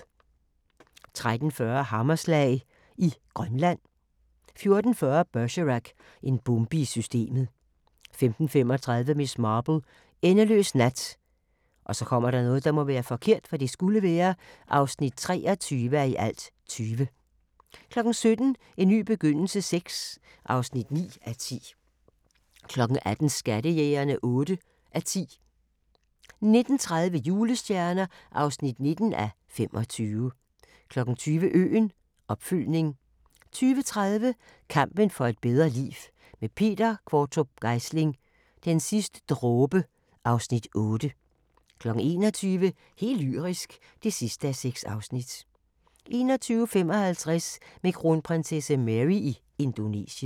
13:40: Hammerslag i Grønland 14:40: Bergerac: En bombe i systemet 15:35: Miss Marple: Endeløs nat (23:20) 17:00: En ny begyndelse VI (9:10) 18:00: Skattejægerne (8:10) 19:30: Julestjerner (19:25) 20:00: Øen – opfølgning 20:30: Kampen for et bedre liv – med Peter Qvortrup Geisling: Den sidste dråbe (Afs. 8) 21:00: Helt lyrisk (6:6) 21:55: Med kronprinsesse Mary i Indonesien